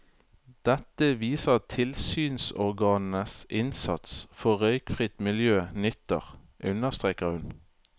Dette viser at tilsynsorganenes innsats for røykfritt miljø nytter, understreker hun.